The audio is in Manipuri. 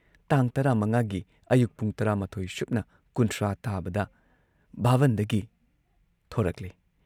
ꯇꯥꯡ ꯇꯔꯥꯃꯉꯥꯒꯤ ꯑꯌꯨꯛ ꯄꯨꯡ ꯇꯔꯥꯃꯥꯊꯣꯏ ꯁꯨꯞꯅ ꯀꯨꯟꯊ꯭ꯔꯥ ꯇꯥꯕꯗ ꯚꯥꯕꯟꯗꯒꯤ ꯊꯣꯔꯛꯂꯦ